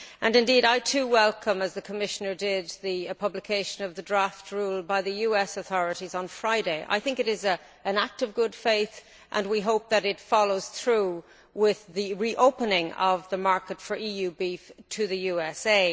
Indeed, I too welcome as the Commissioner did, the publication of the draft rule by the US authorities on Friday. I think it is an act of good faith and we hope that it follows through with the reopening of the market for EU beef to the USA.